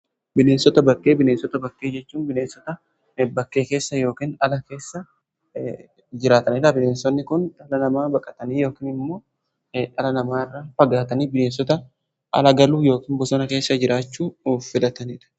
Bineensota bakkee: Bineensota bakkee jechuu bineensota bakkee keessa yookiin ala keessa jiraatanidha. Bineensotni kun dhala namaa baqatanii yookin immoo dhala namaa irra fagaatanii bineensota ala galuu yookiin bosona keessa jiraachuu filatanidha.